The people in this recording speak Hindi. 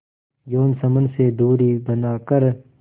यौन संबंध से दूरी बनाकर